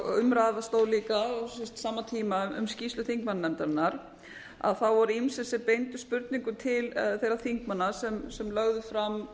og umræða stóð líka á sama tíma um skýrslu þingmannanefndarinnar voru ýmsir sem beindu spurningum til þeirra þingmanna sem lögðu fram